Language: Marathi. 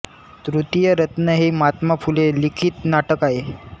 तृतीय रत्न हे महात्मा फुले लिखित नाटक आहे